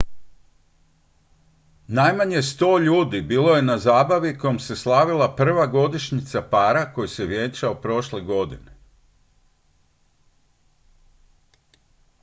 najmanje 100 ljudi bilo je na zabavi kojom se slavila prva godišnjica para koji se vjenčao prošle godine